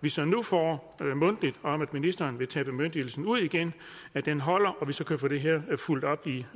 vi så nu får mundtligt om at ministeren vil tage bemyndigelsen ud igen igen holder og vi så kan få det her fulgt op i